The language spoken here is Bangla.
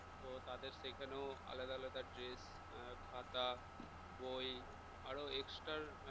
তো তাদের সেখানেও আলাদা আলাদা dress খাতা বই আরো extra